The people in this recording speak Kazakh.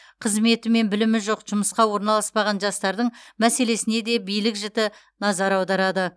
қызметі мен білімі жоқ жұмысқа орналаспаған жастардың мәселесіне де билік жіті назар аударады